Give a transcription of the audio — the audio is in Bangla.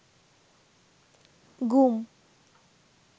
গুম